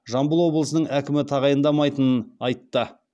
жамбыл облысының әкімі тағайындамайтынын айтты